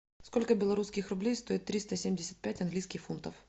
сколько белорусских рублей стоит триста семьдесят пять английских фунтов